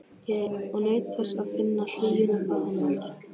Og naut þess að finna hlýjuna frá henni allri.